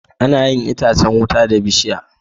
Anayin itacan wuta da bishiya